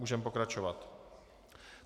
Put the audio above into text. Můžeme pokračovat.